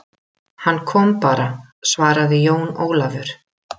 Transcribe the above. Hann kom bara, svaraði Jón Ólafur.